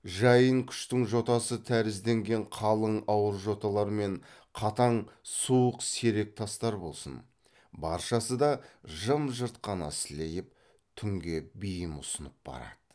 жайын күштің жотасы тәрізденген қалың ауыр жоталар мен қатаң суық серек тастар болсын баршасы да жым жырт қана сілейіп түнге бейім ұсынып барады